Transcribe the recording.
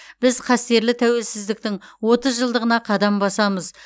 біз қастерлі тәуелсіздіктің отыз жылдығына қадам басамыз